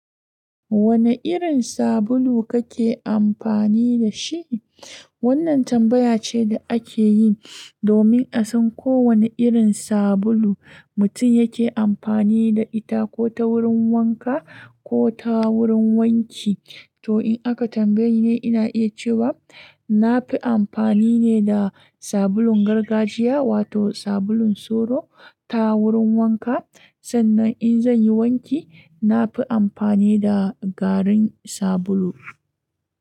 Wane irin sabulu kake amfani da shi? Wannan tambaya ce da ake yi domin a san ko wane irin sabulu mutum yake amfani da ita ko ta wurin wanka ko ta wurin wanki. To in aka tambaye ni ne, ina iya cewa na fi amfani ne da sabulun gargajiya wato sabulun solo ta wurin wanka. Sannan in zan yi wanki, na fi amfani da garin sabulu.